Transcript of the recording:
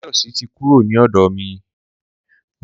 Tóyọ̀sí ti kúrò ni ọ̀dọ̀ mi.